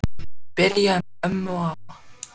Byrjaði með ömmu og afa